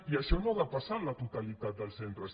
i això no ha de passar en la totalitat dels centres